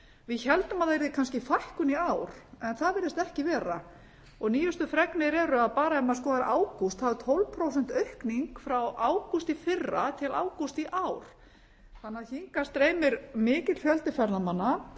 við héldum að yrði kannski fækkun í ár en það virðist ekki vera og nýjustu fregnir eru bara ef maður skoðar ágúst þá er tólf prósent aukning frá ágúst í fyrra til ágúst í ár þannig að hingað streymir mikill fjöldi ferðamanna